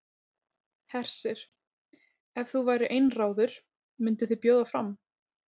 Hersir: Ef þú værir einráður, mynduð þið bjóða fram?